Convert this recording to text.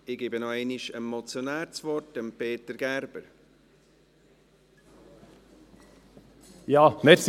Ich gebe noch einmal dem Motionär, Peter Gerber, das Wort.